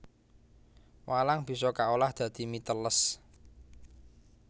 Walang bisa kaolah dadi mie teles